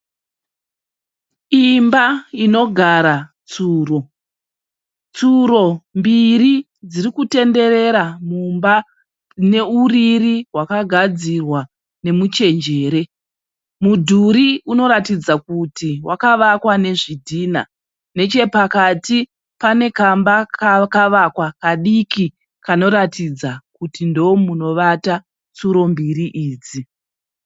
Imba inogara tsuro. Tsuro mbiri dzirikutenderera mumba mune uriri hwakagadzirwa nemuchenjere. Mudhuri unoratidza kuti wakavakwa nezvidhina. Nechepakati pane kamba kakavakwa kadiki kanoratidza kuti ndomunovata tsuro mbiri idzi .